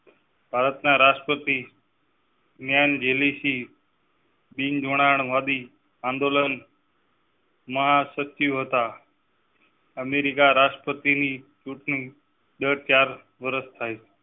ભારતના રાષ્ટ્રપતિ. મિયાન જેલી સી. પિંગ જોડાણ વાદી આંદોલન. મહા સત્ય હતા અમેરિકા રાષ્ટ્રપતિ ની ચુંટણી દર ચાર વરશ